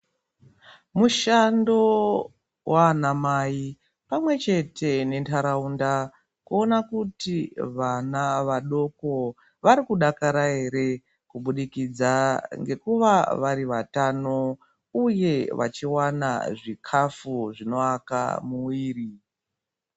Mushando wa ana mai pamwe chete ne ndaraunda kuona kuti vana vadoko vari kudakara ere kubudikidza ngekuva vari vatano uye vachi wane zvikafu zvino waka muviri.